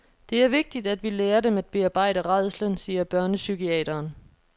Det er vigtigt, at vi lærer dem at bearbejde rædslen, siger børnepsykiateren.